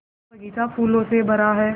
यह बग़ीचा फूलों से भरा है